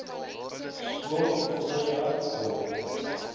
skool voorstad dorp